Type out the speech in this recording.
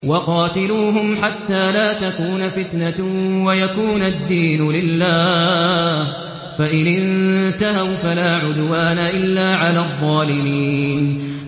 وَقَاتِلُوهُمْ حَتَّىٰ لَا تَكُونَ فِتْنَةٌ وَيَكُونَ الدِّينُ لِلَّهِ ۖ فَإِنِ انتَهَوْا فَلَا عُدْوَانَ إِلَّا عَلَى الظَّالِمِينَ